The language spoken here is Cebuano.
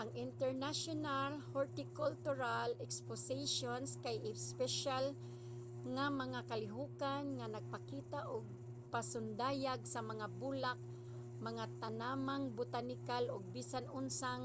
ang international hortikultural expositions kay espesyal nga mga kalihokan nga nagpakita og pasundayag sa mga bulak mga tanamang botanikal ug bisan unsang